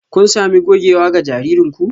Kun sami gogewa ga jaririn ku?